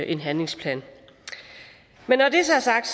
en handlingsplan men når det så er sagt